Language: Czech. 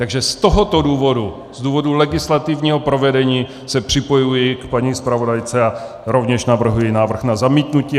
Takže z tohoto důvodu, z důvodu legislativního provedení, se připojuji k paní zpravodajce a rovněž navrhuji návrh na zamítnutí.